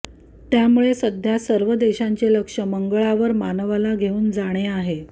त्यामुळे सध्या सर्व देशांचे लक्ष मंगळवार मानवाला घेऊन जाणे आहे